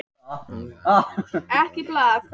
Málið er aðeins óljósara á Indlandi og í Suður-Afríku.